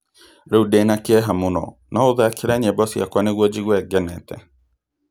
Rĩu ndĩ na kĩeha mũno, no ũthakĩre nyĩmbo ciakwa nĩguo njigue ngenete